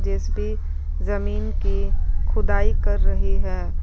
JCB जमीन की खुदाई कर रही है।